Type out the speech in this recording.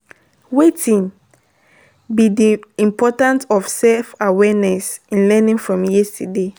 Wetin be di importance of self-awareness in learning from yesterday?